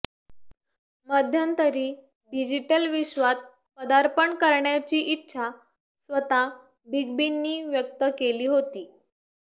मध्यंतरी डिजिटल विश्वात पदार्पण करण्याची इच्छा स्वतः बिग बींनी व्यक्त केली होती